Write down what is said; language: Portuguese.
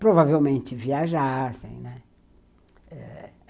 Provavelmente viajassem, né, eh